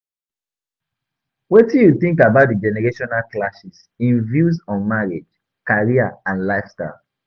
Wetin you think about di generational clashes in views on marriage, career, and lifestyle?